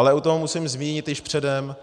Ale u toho musím zmínit již předem,